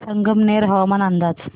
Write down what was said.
संगमनेर हवामान अंदाज